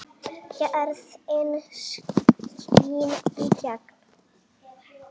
Gæðin skína í gegn.